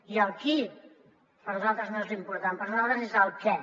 i el qui per a nosaltres no és l’important per a nosaltres és el què